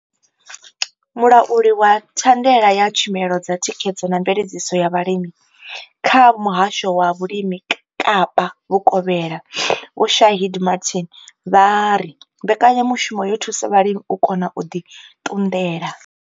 Mulauli wa thandela ya tshumelo dza thikhedzo na mveledziso ya vhulimi kha Muhasho wa Vhulimi Kapa Vhukovhela Vho Shaheed Martin vha ri mbekanya mushumo yo thusa vhalimi u kona u ḓi ṱunḓela.